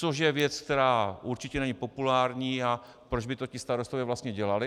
Což je věc, která určitě není populární, a proč by to ti starostové vlastně dělali?